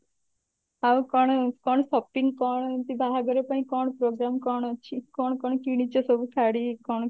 ଆଉ କଣ କଣ shopping କଣ ଏମତି ବାହାଘର ପାଇଁ କଣ program କଣ ଅଛି କଣ କଣ କିଣିଛ ସବୁ ଶାଢୀ କଣ?